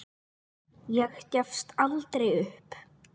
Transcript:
Ég gefst aldrei upp.